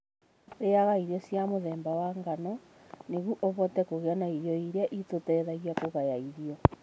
Rĩaga irio cia mũthemba wa ngano nĩguo ũhote kũgĩa na irio iria itũteithagia kũgaya irio.